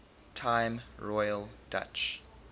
time royal dutch